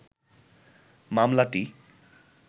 মামলাটি